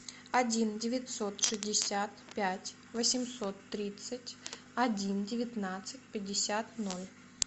один девятьсот шестьдесят пять восемьсот тридцать один девятнадцать пятьдесят ноль